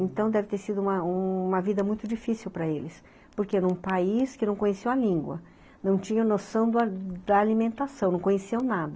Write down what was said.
Então deve ter sido uma uma vida muito difícil para eles, porque era um país que não conhecia a língua, não tinha noção da da alimentação, não conhecia nada.